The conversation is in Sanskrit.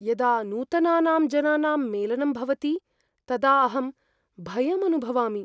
यदा नूतनानां जनानां मेलनं भवति तदा अहं भयम् अनुभवामि।